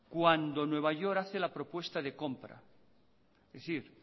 cuando nueva york hace la propuesta de compra es decir